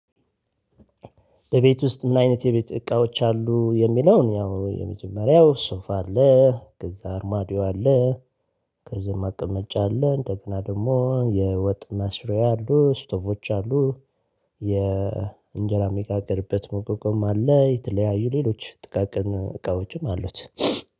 እቤት ውስጥ ምን አይነት የቤት እቃዎች አሉ? የሚለውን ያው የመጀመሪያው ሶፋ አለ ከዛ አርማዲዮ አለ። ከዛ መቀመጫ አለ እንደገና ደግሞ የወጥ መስሪያ አሉ ስቶቮች አሉ። የእንጀራ የሚጋገርበት መውቀቁም አለ የተለያዩ ሌሎች ጥቃቅን እቃዎችም አሉት።